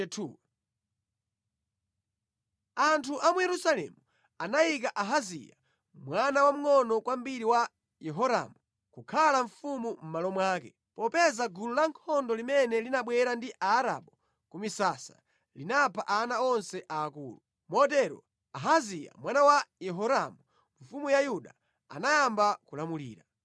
Anthu a mu Yerusalemu anayika Ahaziya mwana wamngʼono kwambiri wa Yehoramu kukhala mfumu mʼmalo mwake, popeza gulu lankhondo limene linabwera ndi Aarabu ku misasa, linapha ana onse aakulu. Motero Ahaziya mwana wa Yehoramu mfumu ya Yuda anayamba kulamulira.